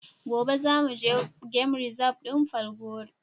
Gobe za mu je gan rizab din Falgore.